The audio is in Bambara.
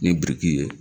Ni biriki ye